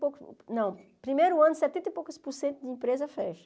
Po não primeiro ano, setenta e poucos por cento de empresa fecha.